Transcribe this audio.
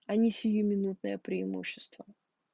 а не сиюминутное преимущество